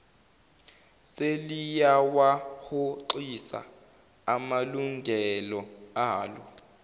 seliyawahoxisa amalungelo alo